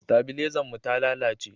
stabilezan mu ta lalace